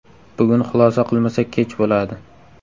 Bugun xulosa qilmasak kech bo‘ladi.